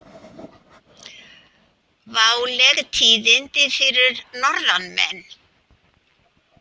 Váleg tíðindi fyrir norðanmenn